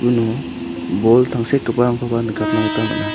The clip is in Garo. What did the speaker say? uno bol tangsekgiparangkoba nikatna gita man·a.